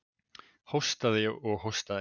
Hóstaði og hóstaði.